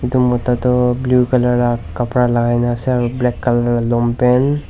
edu mota toh blue colour la kapra lakai na ase aru black colour long pant --